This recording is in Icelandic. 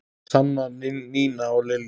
Sanna, Nína og Lilja.